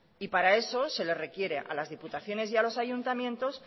y para eso se le requiere a las diputaciones y a los ayuntamientos